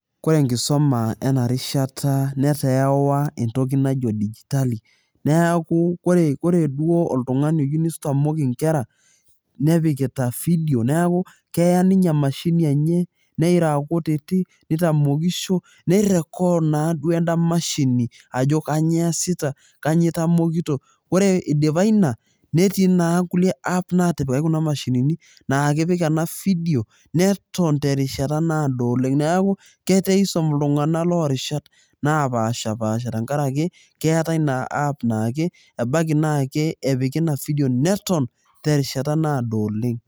Kore enkisuma ena rishata netaa ewa entoki najo digitali. Niaku ore duoo oltungani oyieu neitamok inkera ,nepikita video, neeku keya ninye emashini enye nira akutiti, nitamokisho ,nirekod naaduoo enda mashini ajo kainyioo easita, kainyioo itamokito .Ore idipa ina netii naa kulie app natipikaki kuna mashinini naa kepik ena video, neton terishata naado oleng. Neeku keeta eisum iltunganak lorishat napashapasha tenkaraki keetae naa app naake ebaiki naa epiki ina video neton terishata naado oleng.